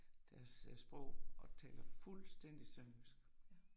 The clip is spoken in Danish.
Deres sprog og taler fuldstændig sønderjysk